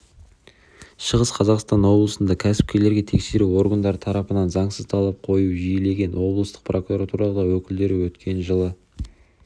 шығыс қазақстан облысында кәсіпкерлерге тексеру органдары тарапынан заңсыз талап қою жиілеген облыстық прокуратура өкілдері өткен жылы